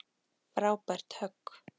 Frábært högg.